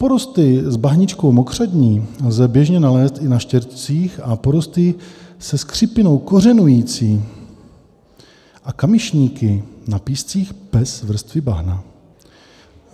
Porosty s bahničkou mokřadní lze běžně nalézt i na štěrcích a porosty se skřípinou kořenující a kamyšníky na píscích bez vrstvy bahna.